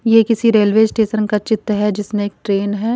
ये किसी railway station का चित्र है जिसने एक ट्रेन है।